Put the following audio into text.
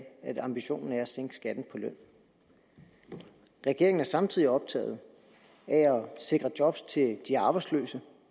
at ambitionen er at sænke skatten på løn regeringen er samtidig optaget af at sikre job til de arbejdsløse